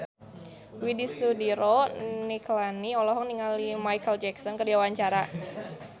Widy Soediro Nichlany olohok ningali Micheal Jackson keur diwawancara